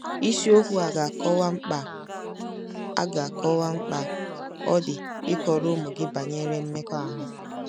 Isiokwu a ga-akọwa mkpa a ga-akọwa mkpa ọ dị ịkọrọ ụmụ gị banyere mmekọahụ.